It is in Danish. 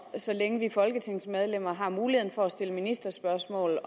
så længe vi folketingsmedlemmer har muligheden for at stille spørgsmål